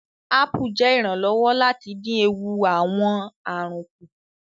Apu ṣe iranlọwọ lati din eewu awọn arun ku